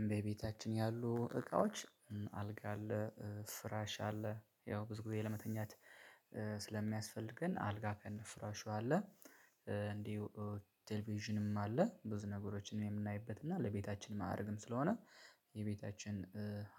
እመቤታችን ያሉ እቃዎች አልጋ አለ ፍራሽ አለ ያው ብዙ ጊዜ ለመተኛት ስለሚያስፈልገን አልጋ ከነ ፍራሹ አለ። እንዲሁ ቴሌቪዥንም አለ። ብዙ ነገሮችን የምናይበት እና ለቤታችን ማረግም ስለሆነ የቤታችን